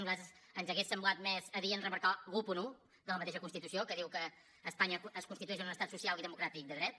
a nosaltres ens hauria semblat més adient remarcar l’onze de la mateixa constitució que diu que espanya es constitueix en un estat social i democràtic de dret